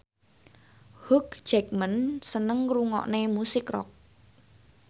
Hugh Jackman seneng ngrungokne musik rock